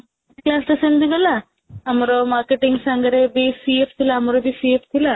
class ଟା ସେମିତି ଗଲା ଆମର marketing ସାଙ୍ଗରେ ବି CFଥିଲା ଆମର ବି CF ଥିଲା